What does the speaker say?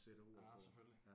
Ah selvfølgelig